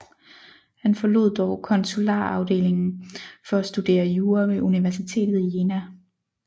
Han forlod dog konsularafdelingen for at studere jura ved universitetet i Jena